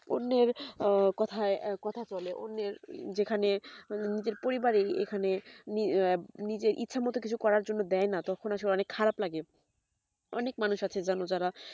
অন্যের কথাই কথা চলে অন্যের যেখানে নিজের পরিবারে এখানে আঃ নিজের ইচ্ছা মতো কিছু দেয় না তখন আসলে অনেক খারাপ লাগে অনেক মানুষ আছে যান যারা